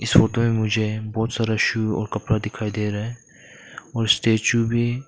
में मुझे बहुत सारा शू और कपड़ा दिखाई दे रहा है और स्टैचू भी--